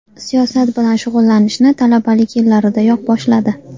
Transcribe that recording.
Siyosat bilan shug‘ullanishni talabalik yillaridayoq boshladi.